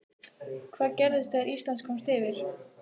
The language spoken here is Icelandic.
Hvað gerðist þegar Ísland komst yfir?